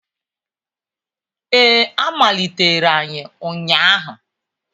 Ee, a malitere anyị ụnyahụ